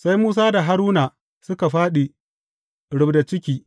Sai Musa da Haruna suka fāɗi rubda ciki.